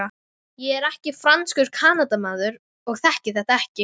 Ég er ekki franskur Kanadamaður og þekki þetta ekki.